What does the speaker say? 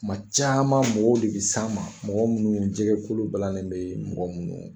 Kuma caman mɔgɔw de bɛ s'an ma, mɔgɔ minnu jɛgɛ kolo balannen bɛ mɔgɔ minnu